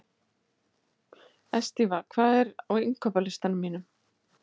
Estiva, hvað er á innkaupalistanum mínum?